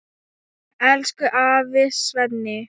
Elsku afi Svenni.